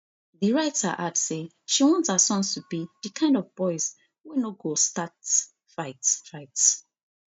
di writer add say she want her sons to be di kind of boys wey no go start fight fight